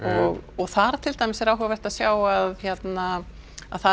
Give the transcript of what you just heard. og þar til dæmis er áhugavert að sjá að það